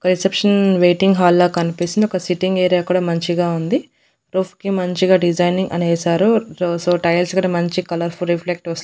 ఒక reception waiting hall లాగా కనిపిస్తుంది ఒక సిట్టింగ్ ఏరియా కూడా మంచిగా ఉంది రూఫ్ కి మంచిగా డిజైజింగ్ అని వేసారు సో టైల్స్ గూడా మంచి కలర్ ఫుల్ రెఫ్లెక్ట్ వస్--